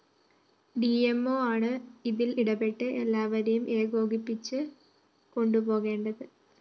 ഡിഎംഒയാണ് ഇതില്‍ ഇടപെട്ട് എല്ലാവരെയും ഏകോപിപിച്ച് കൊണ്ടുപോകേണ്ടത്